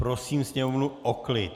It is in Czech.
Prosím sněmovnu o klid.